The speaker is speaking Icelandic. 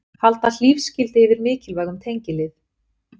Halda hlífiskildi yfir mikilvægum tengilið